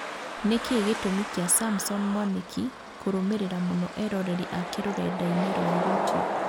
Nĩkĩ gĩtũmi kĩa Samson Mwanĩki kũrũmĩrĩra mũno eroreri ake rũrenda-inĩ rwa youtube